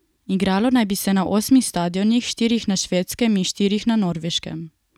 Igralo naj bi se na osmih stadionih, štirih na Švedskem in štirih na Norveškem.